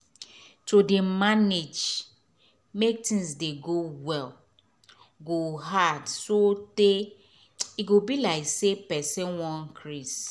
to dey manage make tins dey go well go hard so tey e be like say person wan crase